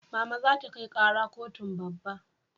Mama za ta kai kara kotun babba